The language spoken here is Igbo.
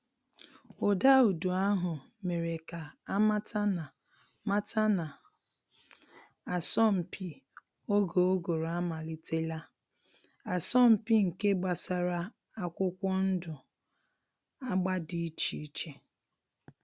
Ụda udu ahụ mere ka a mata na mata na asọmpi oge ụgụrụ amalitela, asọmpi nke gbasara akwụkwọ ndụ agba dị iche iche.